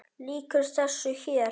Lýkur þessu hér?